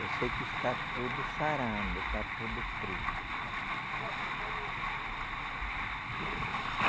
Eu sei que está tudo sarando, está tudo preto, está sarando. Olha só